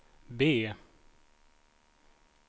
B